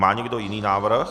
Má někdo jiný návrh?